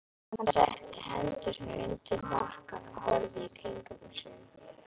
Hann setti hendurnar undir hnakkann og horfði í kringum sig.